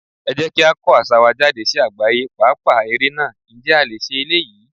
Ẹ jẹ́ kí á kọ́ àṣà wa jáde sí àgbáyé, pàápàá ère náà, ǹjẹ́ a lè ṣe eléyìí?